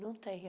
Não tem.